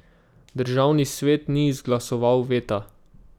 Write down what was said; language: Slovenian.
Državni svet ni izglasoval veta.